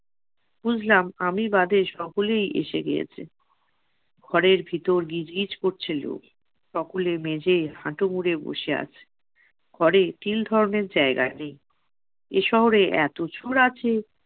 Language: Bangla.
বুঝলাম আমি বাদে সকলেই এসে গিয়েছে, ঘরের ভিতর গিজ গিজ করছে লোক। সকলে মেঝে হাটু মুড়ে বসে আছে। ঘরে তিল ধরণের জায়গা নেই। এশহরে এতো চোর আছে